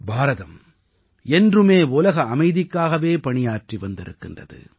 பாரதம் என்றுமே உலக அமைதிக்காகவே பணியாற்றி வந்திருக்கிறது